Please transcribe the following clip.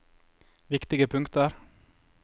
viktige punkter